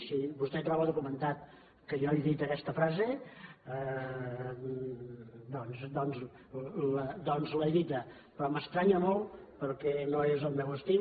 si vostè troba documentat que jo he dit aquesta frase doncs l’he dita però m’estranya molt perquè no és el meu estil